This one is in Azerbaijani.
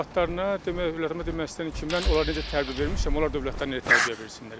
Övladlarına demək, övladıma demək istəyirəm ki, mən onları necə tərbiyə vermişəm, onlar dövlətinə elə tərbiyə versinlər.